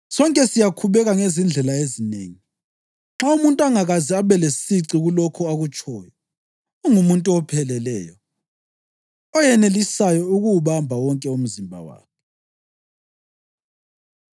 Sonke siyakhubeka ngezindlela ezinengi. Nxa umuntu engakaze abelesici kulokho akutshoyo, ungumuntu opheleleyo, oyenelisayo ukuwubamba wonke umzimba wakhe.